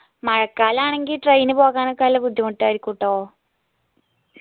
മഴക്കാലാണെങ്കി train പോകാനൊക്കെ നല്ല ബുദ്ധിമുട്ടായിരുക്കുട്ടോ